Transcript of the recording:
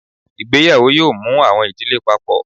Ìgbéyàwó yóò mú awọn idile Pápọ